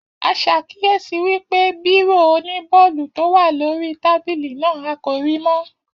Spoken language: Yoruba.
A ṣàkíyèsí wípé bírò oní bọọlu tó wà lórí tábìlì náà, a kò rí mọ́